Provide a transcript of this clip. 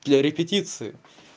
для репетиции